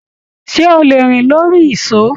Ṣé o lè rìn lórí ìsó?